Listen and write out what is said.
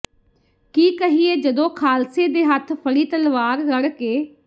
ਕੀ ਕਹੀਏ ਜਦੋ ਖਾਲਸੇ ਦੇ ਹੱਥ ਫੜੀ ਤਲਵਾਰ ਰੜਕੇ